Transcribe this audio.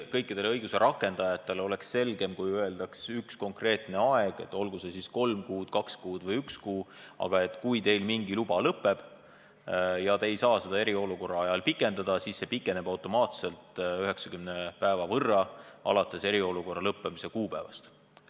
Kõikidel õiguse rakendajatel oleks selgem, kui öeldaks üks konkreetne aeg – olgu see kolm kuud, kaks kuud või üks kuu –, et kui teil mingi luba lõpeb ja te ei saa seda eriolukorra ajal pikendada, siis see pikeneb automaatselt näiteks 90 päeva võrra alates eriolukorra lõppemise kuupäevast.